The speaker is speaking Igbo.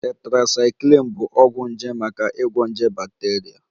Tetracycline bụ ọgwụ nje maka ịgwọ nje bakteria